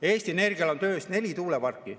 Eesti Energial on töös neli tuuleparki.